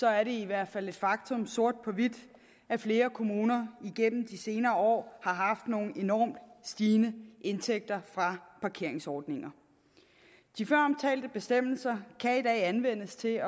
er det i hvert fald et faktum sort på hvidt at flere kommuner igennem de senere år har haft nogle enormt stigende indtægter fra parkeringsordninger de føromtalte bestemmelser kan i dag anvendes til